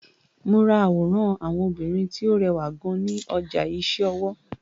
Mo ra àwòrán àwọn obìnrin tí ó rẹwà gan ní ọjà iṣẹ́ ọwọ́.